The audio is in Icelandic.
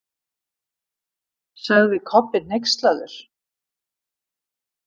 sagði Kobbi hneykslaður.